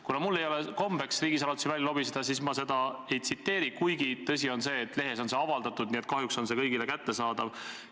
Kuna mul ei ole kombeks riigisaladusi välja lobiseda, siis ma seda ei tsiteeri, kuigi tõsi on see, et lehes on see avaldatud, nii et kahjuks on see kõigile kättesaadav.